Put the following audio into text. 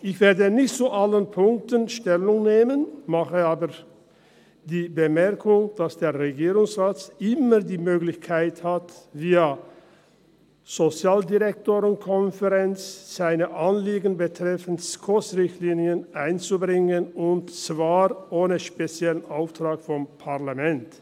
Ich werde nicht zu allen Punkten Stellung nehmen, mache aber die Bemerkung, dass der Regierungsrat immer die Möglichkeit hat, seine Anliegen betreffend SKOS-Richtlinien via Konferenz der kantonalen Sozialdirektorinnen und Sozialdirektoren (SODK) einzubringen und zwar ohne speziellen Auftrag des Parlaments.